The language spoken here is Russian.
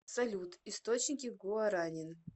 салют источники гуаранин